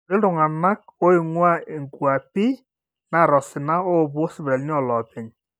kuti oleng iltung'anak ooinguaa inkuapi naata osina oopuo sipitalini ooloopeny